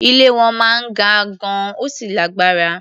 Ilé wọn máa ń ga gan-an, ó sì lágbára.